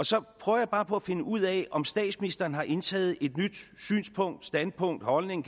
så prøver jeg bare på at finde ud af om statsministeren har indtaget et nyt synspunkt standpunkt holdning